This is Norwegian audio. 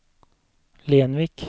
Lenvik